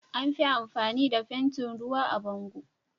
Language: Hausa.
Anfi amfani da fentin ruwa a bango